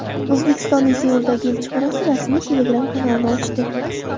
O‘zbekistonning Seuldagi elchixonasi rasmiy Telegram-kanalini ochdi.